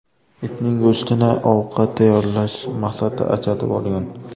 itning go‘shtini ovqat tayyorlash maqsadida ajratib olgan.